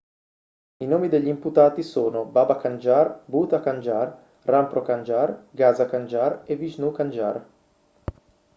i nomi degli imputati sono baba kanjar bhutha kanjar rampro kanjar gaza kanjar e vishnu kanjar